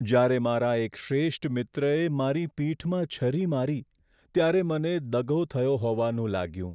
જ્યારે મારા એક શ્રેષ્ઠ મિત્રએ મારી પીઠમાં છરી મારી ત્યારે મને દગો થયો હોવાનું લાગ્યું.